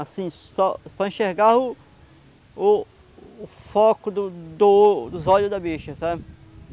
Assim, só só enxergava o o o foco do do dos olhos da bicha, sabe?